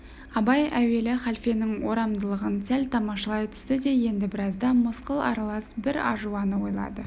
абай әуелі халфенің орамдылығын сәл тамашалай түсті де енді біразда мысқыл аралас бір ажуаны ойлады